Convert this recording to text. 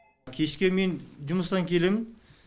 кешке мен жұмыстан келемін